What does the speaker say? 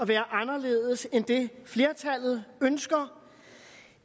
være anderledes end det flertallet ønsker